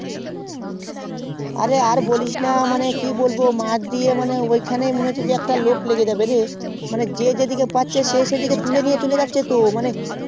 হ্যাঁ হ্যাঁ আর বলিস না ম্যাথ দিয়ে কি বলবো মনে হচ্ছে অখানে একটা লোক লেগে যাবে মানে যে যেই দিকে পাচ্ছে সেইদিকে তুলে নিয়ে চলে যাচ্ছে তো